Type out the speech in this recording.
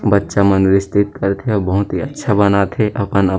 बच्चा मन विस्तृत करथे अऊ बहुत ही अच्छा बनाथे अपन आप--